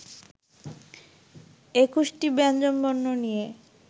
একুশটি ব্যঞ্জনবর্ণ নিয়ে